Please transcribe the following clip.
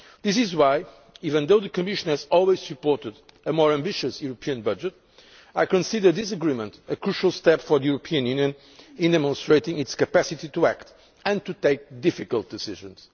This is why even though the Commission has always supported a more ambitious European budget I consider this agreement a crucial step for the European Union in demonstrating its capacity to act and to take difficult decisions.